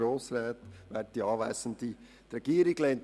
Die Gründe sind die Folgenden: